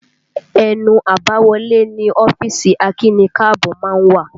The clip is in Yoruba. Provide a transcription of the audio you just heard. Ẹnu àbáwọlé ni ọ́fíìsì akíni-káàbọ́ má ń wà